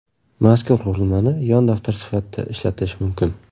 Mazkur qurilmani yon daftar sifatida ishlatish mumkin.